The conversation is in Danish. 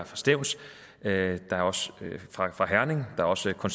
fra stevns det er også fra